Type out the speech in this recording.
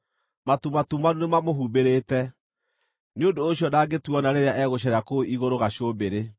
Matu matumanu nĩmamũhumbĩrĩte, nĩ ũndũ ũcio ndangĩtuona rĩrĩa egũceera kũu igũrũ gacũmbĩrĩ.’